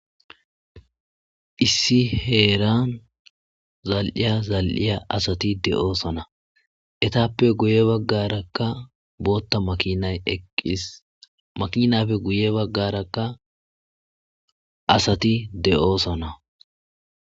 Issi heeran zal'iya zal'iya asati zal'ishe de'oosona. Eetappe guye bagaraka bootha makinay eqqis. Makinappe guye baggaraka asati de'oosona.